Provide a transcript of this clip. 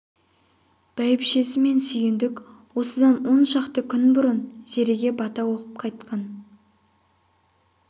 бәйбішесі мен сүйіндік осыдан он шақты күн бұрын зереге бата оқып қайтқан